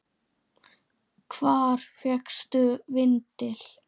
Hvar fékkstu vindil?